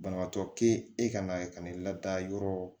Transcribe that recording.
Banabaatɔ te e ka na ye ka n'i lada yɔrɔ